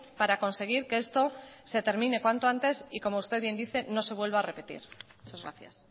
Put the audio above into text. para conseguir que esto se termine cuanto antes y como usted bien dice no se vuelva a repetir muchas gracias